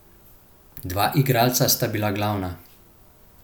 Dva igralca sta bila glavna.